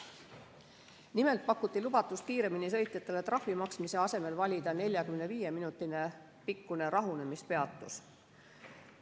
Nimelt pakuti lubatust kiiremini sõitjatele trahvi maksmise asemel valida 45 minuti pikkune rahunemispeatus.